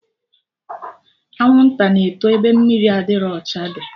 Anwụnta na-eto ebe mmiri adịrọ ọcha dị